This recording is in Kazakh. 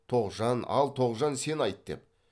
тоғжан ал тоғжан сен айт деп